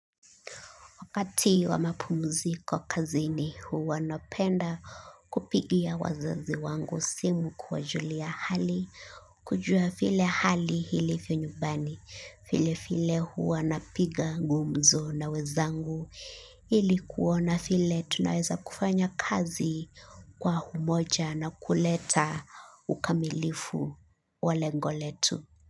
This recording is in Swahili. Wakati wa mapumuziko kazini huwa napenda kupigia wazazi wangu simu kuwajulia hali, kujua vile hali hilivyo nyumbani, vile vile huwa napiga gumzo na wezangu, ili kuona vile tunaweza kufanya kazi kwa humoja na kuleta ukamilifu wa lengo letu.